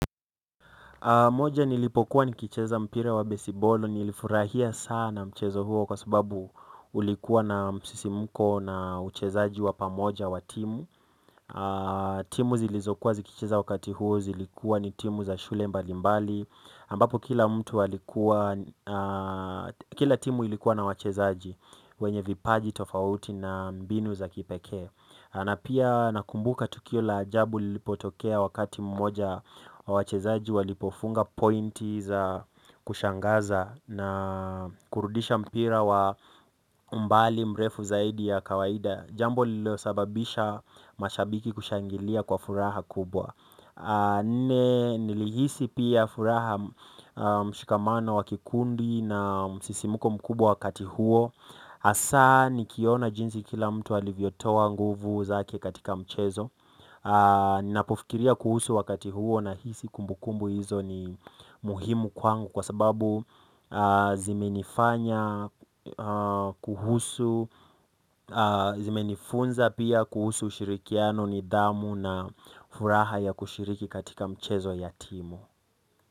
Moja nilipokuwa nikicheza mpira wa besiboli nilifurahia sana mchezo huo kwa sababu ulikuwa na msisimko na uchezaji wa pamoja wa timu timu zilizokuwa zikicheza wakati huo zilikuwa ni timu za shule mbalimbali ambapo kila mtu alikuwa, kila timu ilikuwa na wachezaji, wenye vipaji tofauti na mbinu za kipekee na pia nakumbuka tukio la ajabu lilipotokea wakati mmoja wachezaji walipofunga pointi za kushangaza na kurudisha mpira wa mbali mrefu zaidi ya kawaida jambo lilo sababisha mashabiki kushangilia kwa furaha kubwa nilihisi pia furaha mshikamano wa kikundi na msisimuko mkubwa wakati huo hasaa nikiona jinsi kila mtu alivyotoa nguvu zake katika mchezo. Ninapofikiria kuhusu wakati huo nahisi kumbukumbu hizo ni muhimu kwangu kwa sababu zimenifanya kuhusu, zimenifunza pia kuhusu ushirikiano ni hamu na furaha ya kushiriki katika mchezo ya timu.